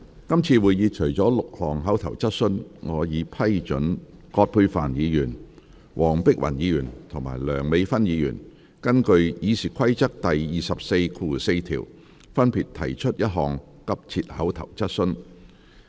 今次會議除了6項口頭質詢，我已批准葛珮帆議員、黃碧雲議員及梁美芬議員根據《議事規則》第244條，分別提出一項急切口頭質詢。